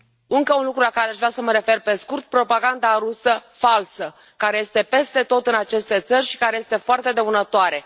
Încă un lucru la care aș vrea să mă refer pe scurt propaganda rusă falsă care este peste tot în aceste țări și care este foarte dăunătoare.